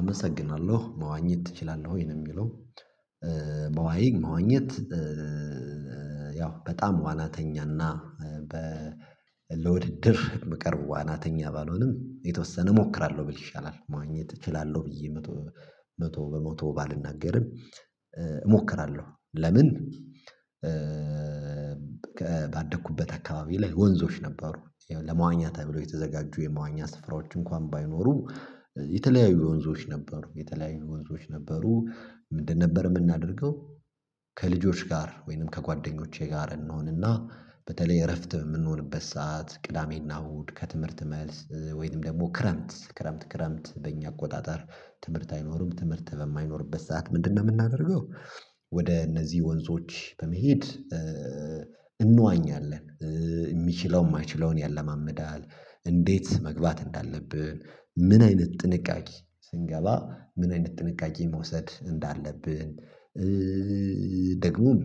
አመሰግናለሁ። መዋኘት ትችላለህ ወይ? ነው የሚለው። መዋይ መዋኘት ያው በጣም ዋናተኛና በ ለውድድር የምቀርብ ዋናተኛ ባልሆንም የተወሰነ እሞክራለሁ ብል ይሻላል። መዋኘት እችላለሁ ብዬ መቶ መቶ በመቶ ባልናገርም እሞክራለሁ። ለምን ባደኩበት አካባቢ ላይ ወንዞች ነበሩ። ለመዋኛ ተብሎ የተዘጋጁ የመዋኛ ስፍራዎች እንኳን ባይኖሩ የተለያዩ ወንዞች ነበሩ። የተለያዩ ወንዞች ነበሩ ምንድን ነበር የምናደርገው ከልጆች ጋር ወይንም ከጓደኞቼ ጋር እንሆንና በተለይ እረፍት የምንሆንበት ሰዓት፤ ቅዳሜና እሁድ፤ ከትምህርት መልስ ወይንም ደግሞ ክረምት ክረምት ክረምት በእኛ አቆጣጠር ትምህርት አይኖርም ትምህርት በማይኖርበት ሰዓት ምንድነው የምናደርገው ወደ እነዚህ ወንዞች በመሄድ እንዋኛለን። የሚችለው የማይችለውን ያለማምዳል፤ እንዴት መግባት እንዳለብን፤ ምን አይነት ጥንቃቄ ስንገባ ምን አይነት ጥንቃቄ መውሰድ እንዳለብን ደግሞም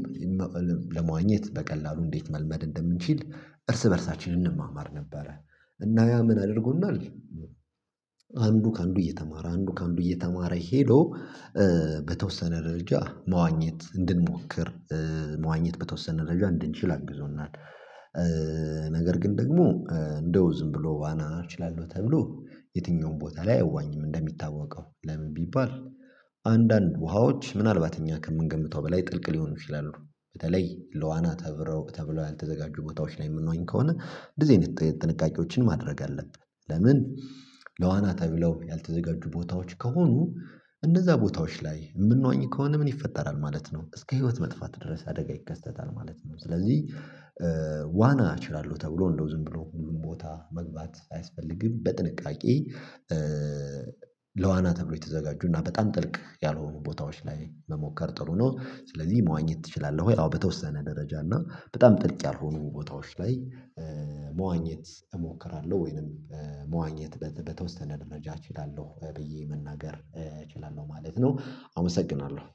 ለመዋኘት በቀላሉ እንዴት መልመድ እንደምንችል እርስ በእርሳችን እንማማር ነበረ። እና ያ ምን አድርጎናል አንዱ ከአንዱ እየተማረ አንዱ ከአንዱ እየተማረ ሄዶ በተወሰነ ደረጃ መዋኘት እንድንሞክር መዋኘት በተወሰነ ደረጃ እንድንችል አግዞናል። ነገር ግን ደግሞ እንደው ዝም ብሎ ዋና እችላለሁ ተብሎ የትኛውም ቦታ ላይ አይዋኝም እንደሚታወቀው። ለምን ቢባል አንዳንድ ውሃዎች ምናልባት እኛ ከምንገምተው በላይ ጥልቅ ሊሆኑ ይችላሉ። በተለይ ለዋና ተብረው ተብለው ያልተዘጋጁ ቦታዎች ላይ የምንዋኝ ከሆነ እንደዚህ አይነት ጥንቃቄዎችን ማድረግ አለብን። ለምን ለዋና ተብለው ያልተዘጋጁ ቦታዎች ከሆኑ እነዛ ቦታዎች ላይ የምንዋኝ ከሆነ ምን ይፈጠራል ማለት ነው እስከ ህይወት መጥፋት ድረስ አደጋ ይከሰታል ማለት ነው። ስለዚህ ዋና እችላለሁ ተብሎ እንደው ዝም ብሎ ሁሉም ቦታ መግባት አያስፈልግም። በጥንቃቄ ለዋና ተብሎ የተዘጋጁና በጣም ጥልቅ ያልሆኑ ቦታዎች ላይ መሞከር ጥሩ ነው። ስለዚህ መዋኘት ትችላለህ ወይ? አዎ በተወሰነ ደረጃ እና በጣም ጥልቅ ያልሆኑ ቦታዎች ላይ መዋኘት እሞክራለሁ ወይንም መዋኘት በተወሰነ ደረጃ እችላለሁ ብዬ መናገር እችላለሁ ማለት ነው። አመሰግናለሁ።